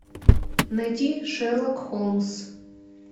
найти шерлок холмс